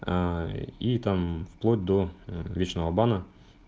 аа и там вплоть до мм вечного бана